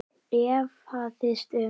efaðist um